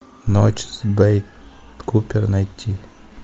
ночь с бет купер найти